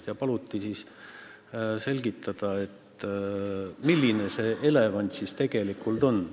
Ja neil paluti selgitada, milline loom see elevant on.